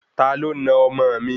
Taló na ọmọ òn mi?